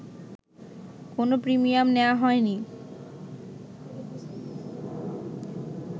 কোনো প্রিমিয়াম নেয়া হয়নি